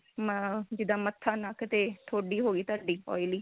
ਮਾ ਜਿੱਦਾਂ ਮੱਥਾ ਨੱਕ ਤੇ ਥੋਡੀ ਹੋ ਗਈ ਤੁਹਾਡੀ oily